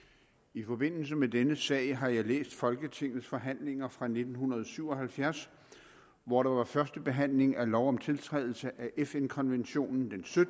i forbindelse med denne sag har jeg læst folketingets forhandlinger fra nitten syv og halvfjerds hvor der var første behandling af lov om tiltrædelse af fn konventionen